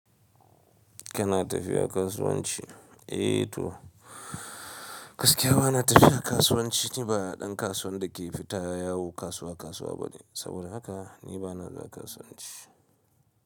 Kana tafiya kasuwanci? Eh to, gaskiya bana tafiya kasuwanci. Ni ba ɗan kasuwan da ke fita yawo kasuwa kasuwa bane. Saboda haka ni bana da kasuwanci.